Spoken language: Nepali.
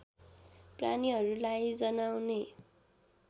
प्राणीहरूलाई जनाउने